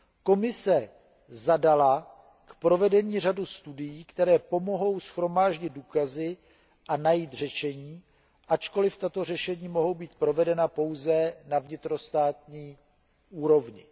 Komise zadala k provedení řadu studií, které pomohou shromáždit důkazy a najít řešení, ačkoliv tato řešení mohou být provedena pouze na vnitrostátní úrovni.